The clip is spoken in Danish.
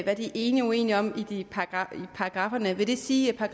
hvad de er enige og uenige om i paragrafferne vil det så sige at